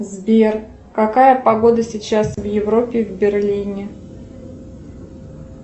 сбер какая погода сейчас в европе в берлине